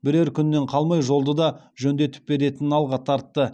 бірер күннен қалмай жолды да жөндетіп беретінін алға тартты